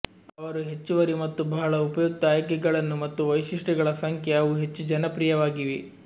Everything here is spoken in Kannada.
ಅವರು ಹೆಚ್ಚುವರಿ ಮತ್ತು ಬಹಳ ಉಪಯುಕ್ತ ಆಯ್ಕೆಗಳನ್ನು ಮತ್ತು ವೈಶಿಷ್ಟ್ಯಗಳ ಸಂಖ್ಯೆ ಅವು ಹೆಚ್ಚು ಜನಪ್ರಿಯವಾಗಿವೆ